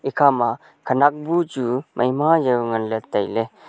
ekha ma khanak bu chu maima jao ngan ley tailey.